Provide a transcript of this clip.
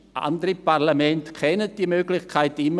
Andere Parlamente kennen diese Möglichkeit noch immer.